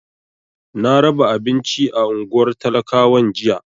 Na raba abinci a unguwar talakawan jiya.